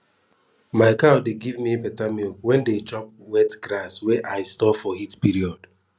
my cows dey give me beta milk wen dem chop wet grass wey i store for heat period